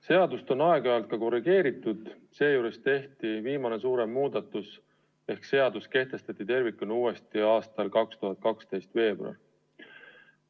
Seadust on aeg-ajalt ka korrigeeritud, viimane suurem muudatus tehti 2012. aasta veebruaris, kui seadus kehtestati tervikuna uuesti.